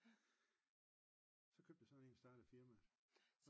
Så købte jeg sådan en og startede et firma